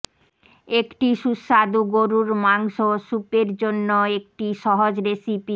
একটি সুস্বাদু গরুর মাংস স্যুপ জন্য একটি সহজ রেসিপি